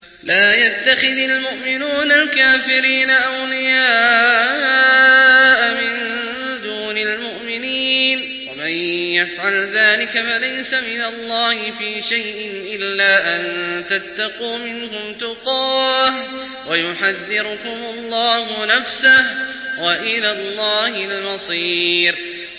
لَّا يَتَّخِذِ الْمُؤْمِنُونَ الْكَافِرِينَ أَوْلِيَاءَ مِن دُونِ الْمُؤْمِنِينَ ۖ وَمَن يَفْعَلْ ذَٰلِكَ فَلَيْسَ مِنَ اللَّهِ فِي شَيْءٍ إِلَّا أَن تَتَّقُوا مِنْهُمْ تُقَاةً ۗ وَيُحَذِّرُكُمُ اللَّهُ نَفْسَهُ ۗ وَإِلَى اللَّهِ الْمَصِيرُ